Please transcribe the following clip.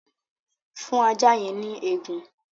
Fún ajá yẹn ní egun!